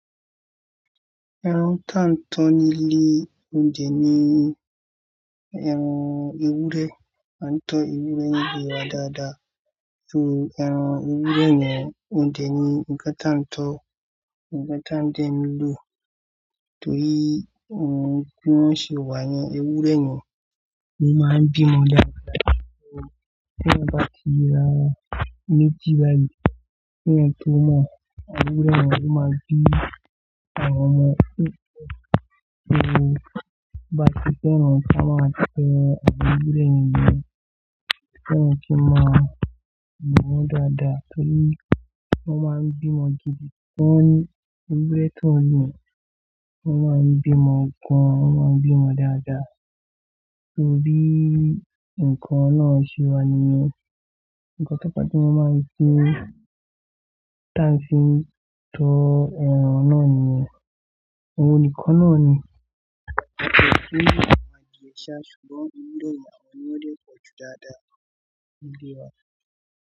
Ẹran tí a ń tọ nílí, òuynje ni ẹran ewúrẹ́, a ń tọ ewúrẹ́ nílé wa dáadáa. Ẹran ewúrẹ́ yẹn, òunje ni nǹkan tí a ń tọ, nǹkan tí a ń dee ló. Torí ohun bi won ṣe wà ní ẹwúrẹ́ yẹn ló máa ń bímọ dáadáa. Torí teeyan bá ti yera méjì báyìí, keeyan tó mọ awon ewúrẹ́ yẹn lo máa bí àwọn ọmọ tó. Torí bá ti fẹ́ràn kí a máa fẹ́ ewúrẹ́ ènìyàn, kí wọ́n kí máa bù wọ́n dáadáa. Torí wọ́n máa ń bímọ gidi. Wọ́n ni ẹwúrẹ́ tó ryen, wọ́n máa ń bímọ gan, wọ́n máa ń bímọ dáadáa. Torí nǹkan nàa ṣẹ wa nìyẹn. Ǹkan tí a bá ti máa fi, tí a ń fi tọ ẹran náà nìyẹn. Ohun nìkan náà ni. Ọ̀pọ̀ tó ní àwọn adìẹ iṣẹ́, ṣùgbọ́n ewúrẹ́ ni àwọn ni wọ́n dẹ́kùn jù dáadáa nílé wa.